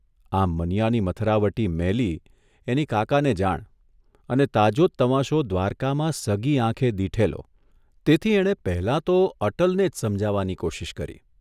આમ મનીયાની મથરાવટી મેલી એની કાકાને જાણ અને તાજો જ તમાશો દ્વારકામાં સગી આંખે દીઠેલો તેથી એણે પહેલાં તો અટલને જ સમજાવવાની કોશીશ કરી.